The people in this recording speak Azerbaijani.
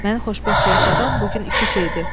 Məni xoşbəxt yaşadan bu gün iki şeydir: